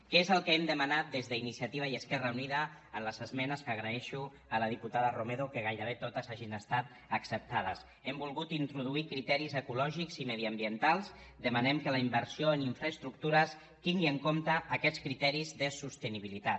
què és el que hem demanat des d’iniciativa i esquerra unida en les esmenes que agraeixo a la diputada romero que gairebé totes hagin estat acceptades hem volgut introduir criteris ecològics i mediambientals demanem que la inversió en infraestructures tingui en compte aquests criteris de sostenibilitat